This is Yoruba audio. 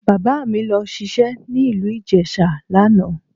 Bàbá mi lọ ṣiṣẹ́ ní ìlú Ìjẹ̀ṣà lánàá